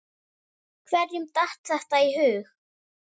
Hverjum datt þetta í hug?